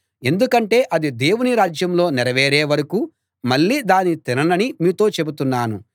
ఎందుకంటే అది దేవుని రాజ్యంలో నెరవేరే వరకూ మళ్ళీ దాన్ని తిననని మీతో చెబుతున్నాను